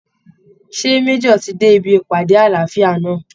Ṣé Major ti dé ibi ìpàdé àlàáfíà náà?